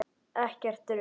Ekkert rusl.